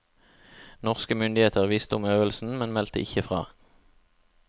Norske myndigheter visste om øvelsen, men meldte ikke fra.